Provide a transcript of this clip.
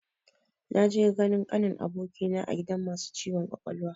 Na je ganin kanin abokina a gidan masu ciwon kwakwalwa